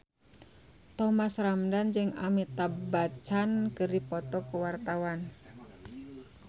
Thomas Ramdhan jeung Amitabh Bachchan keur dipoto ku wartawan